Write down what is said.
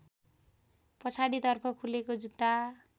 पछाडितर्फ खुलेको जुत्ता